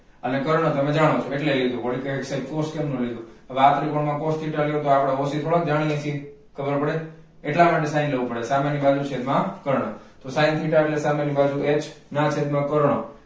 અને કર્ણ તમે જાણો છો એટલે લીધું. વળી કેસે કે cos કેમ નાલીધું આવે આ ત્રિકોણ માં લ્યો તો આપણે o c જાણીયે હકીએ ખબર પડે એટલા માટે sin લેવું પડે સામેની બાજુ છેદમાં કર્ણ તો sin theta એટલે સામેની બાજુ h ના છેદમાં કર્ણ